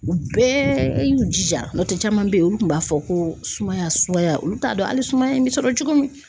U bɛɛ y'u jija n'o tɛ caman bɛ ye olu kun b'a fɔ ko sumaya sumaya olu t'a dɔn hali sumaya bɛ sɔrɔ cogo min.